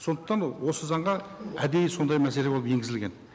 сондықтан осы заңға әдейі сондай мәселе болып енгізілген